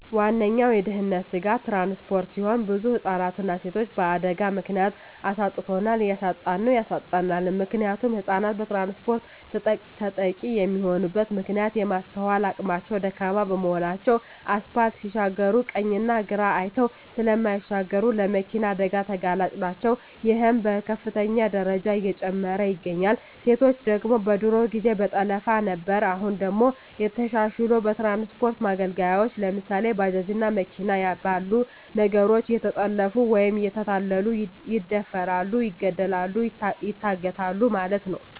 ዋነኛዉ የድህንነት ስጋት ትራንስፖርት ሲሆን ብዙ ህፃናትንና ሴቶችን በአደጋ ምክንያት አሳጥቶናል እያሳጣን ነዉ ያሳጣናልም። ምክንያቱም ህፃናት በትራንስፖርት ተጠቂ የሚሆኑበት ምክንያት የማስትዋል አቅማቸዉ ደካማ በመሆናቸዉ አስፓልት ሲሻገሩ ቀኝና ግራ አይተዉ ስለማይሻገሩ ለመኪና አደጋ ተጋላጭ ናቸዉ ይሄም በከፍተኛ ደረጃ እየጨመረ ይገኛል። ሴቶች ደግሞ በድሮ ጊዜ በጠለፋ ነበር አሁን ደግሞ ተሻሽልሎ በትራንስፖርት መገልገያወች ለምሳሌ፦ ባጃጅ እና መኪና ባሉ ነገሮች እየተጠለፊፉ ወይም እየተታለሉ ይደፈራሉ ይገደላሉ ይታገታሉ ማለት ነዉ።